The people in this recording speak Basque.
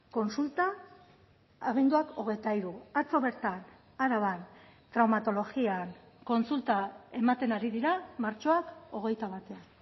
kontsulta abenduak hogeita hiru atzo bertan araban traumatologian kontsulta ematen ari dira martxoak hogeita batean